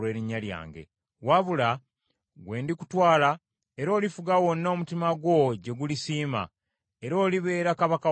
Wabula, ggwe ndikutwala, era olifuga wonna omutima gwo gye gulisiima, era olibeera kabaka wa Isirayiri.